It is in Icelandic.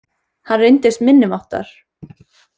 Hann reyndist minniháttar